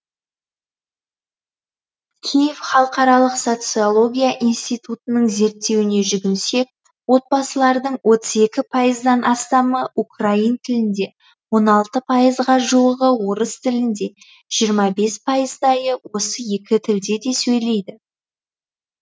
киев халықаралық социология институтының зерттеуіне жүгінсек отбасылардың отыз екі пайыздан астамы украин тілінде он алты пайызға жуығы орыс тілінде жиырма бес пайыздайы осы екі тілде де сөйлейді